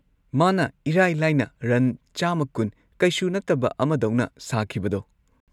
ꯃꯥꯅ ꯏꯔꯥꯏ ꯂꯥꯏꯅ ꯔꯟ ꯱꯲꯰ ꯀꯩꯁꯨ ꯅꯠꯇꯕ ꯑꯃꯗꯧꯅ ꯁꯥꯈꯤꯕꯗꯣ꯫